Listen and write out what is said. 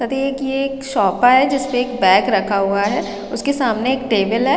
कहते है कि ये एक शॉपा है जिस पे एक बैग रखा हुआ है उसके सामने टेबल है।